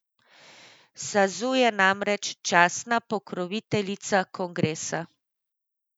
Sazu je namreč častna pokroviteljica kongresa.